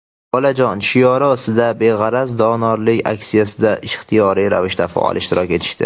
bolajon shiori ostida beg‘araz donorlik aksiyasida ixtiyoriy ravishda faol ishtirok etishdi.